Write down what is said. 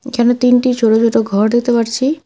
এখানে তিনটি ছোটো ছোটো ঘর দেখতে পারছি।